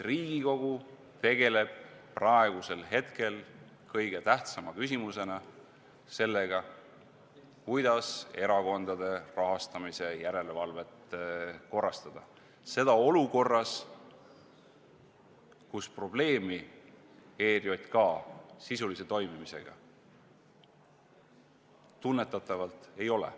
Riigikogu aga tegeleb praegusel hetkel kõige tähtsama küsimusena sellega, kuidas erakondade rahastamise järelevalvet korrastada, ja seda olukorras, kus probleemi ERJK sisulise toimimisega tunnetatavalt ei ole.